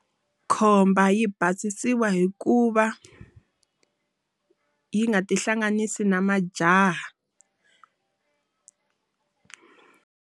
Khomba yi basisiwa hi ku va yi nga ti hlanganisi na majaha.